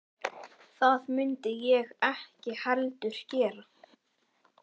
Það mundi ég ekki heldur gera